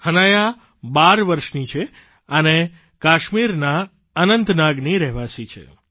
હનાયા 12 વર્ષની છે અને કાશ્મીરના અનંતનાગરની રહેવાસી છે